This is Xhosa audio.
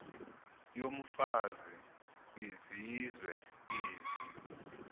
yomfazi kwizizwe ezi